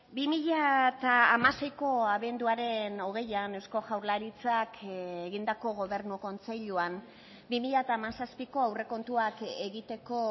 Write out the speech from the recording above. bi mila hamaseiko abenduaren hogeian eusko jaurlaritzak egindako gobernu kontseiluan bi mila hamazazpiko aurrekontuak egiteko